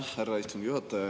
Aitäh, härra istungi juhataja!